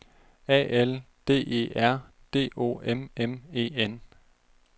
A L D E R D O M M E N